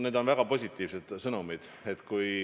Need on väga positiivsed sõnumid.